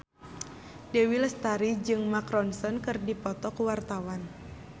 Dewi Lestari jeung Mark Ronson keur dipoto ku wartawan